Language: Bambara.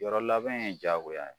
Yɔrɔ labɛn ye jaagoya ye